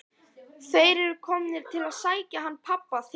Þeir eru komnir til að sækja hann pabba þinn.